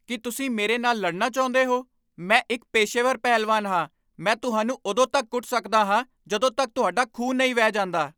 ਕੀ ਤੁਸੀਂ ਮੇਰੇ ਨਾਲ ਲੜਨਾ ਚਾਹੁੰਦੇ ਹੋ? ਮੈਂ ਇੱਕ ਪੇਸ਼ੇਵਰ ਪਹਿਲਵਾਨ ਹਾਂ! ਮੈਂ ਤੁਹਾਨੂੰ ਉਦੋਂ ਤੱਕ ਕੁੱਟ ਸਕਦਾ ਹਾਂ ਜਦੋਂ ਤੱਕ ਤੁਹਾਡਾ ਖੂਨ ਨਹੀਂ ਵਹਿ ਜਾਂਦਾ।